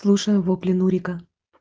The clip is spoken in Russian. слушаю вопли нурика